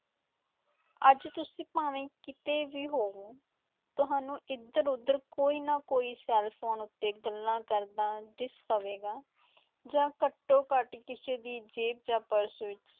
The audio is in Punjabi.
ਅੱਜ ਤੁਸੀਂ ਭਾਵੇਂ ਕਿਤੇ ਵੀ ਹੋਵੇ, ਤੁਹਾਨੂੰ ਇਧਰ-ਉਧਰ ਕੋਈ ਨਾ ਕੋਈ ਸੈੱਲਫੋਨ ਉੱਤੇ ਗੱਲਾਂ ਕਰਦਾ ਦਿਸ ਪਵੇਗਾ ਜਾਂ ਘੱਟੋ-ਘੱਟ ਕਿਸੇ ਦੀ ਜੇਬ ਜਾਂ ਪਰਸ ਵਿਚ